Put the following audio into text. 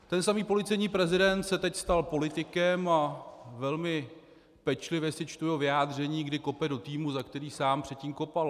Ten samý policejní prezident se teď stal politikem a velmi pečlivě si čtu jeho vyjádření, kdy kope do týmu, za který sám předtím kopal.